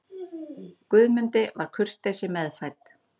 Guðmundi var kurteisi meðfædd.